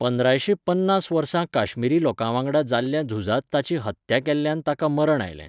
पंद्रायशे पन्नास वर्सा काश्मीरी लोकां वांगडा जाल्ल्या झुजांत ताची हत्त्या केल्ल्यान ताका मरण आयलें.